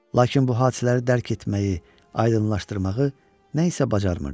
Lakin bu hadisələri dərk etməyi, aydınlaşdırmağı nəsə bacarmırdım.